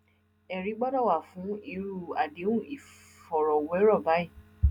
ẹrí gbọdọ wà fún irú àdéhùn ìfọrọwérọ báyìí